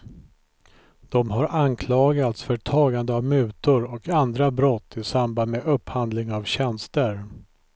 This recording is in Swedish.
De har anklagats för tagande av mutor och andra brott i samband med upphandling av tjänster.